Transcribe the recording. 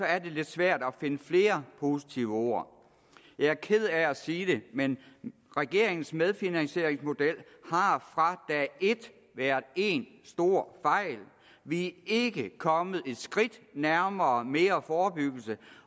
er det lidt svært at finde flere positive ord jeg ked af at sige det men regeringens medfinansieringsmodel har fra dag et været én stor fejl vi er ikke kommet et skridt nærmere mere forebyggelse